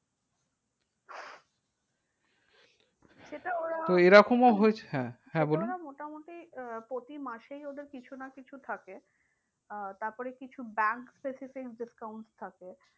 ওরা, তো এরকমও হয়েছে হ্যাঁ হ্যাঁ বলুন। এটা ওরা মোটামুটি আহ প্রতি মাসেই ওদের কিছু না কিছু থাকে আহ তারপরে কিছু bank specific discount থাকে